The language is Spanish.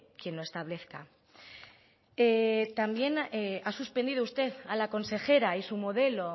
quien lo establezca también ha suspendido usted a la consejera y su modelo